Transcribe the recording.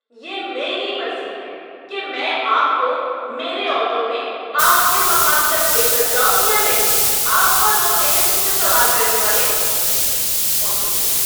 یہ میری مرضی ہے کہ میں آپ کو میرے آٹو میں آپ کے مقام تک لے کر جاؤں یا نہیں۔ آپ کون ہوتے ہیں مجھ سے سوال کرنے والے؟ (آٹو ڈرائیور)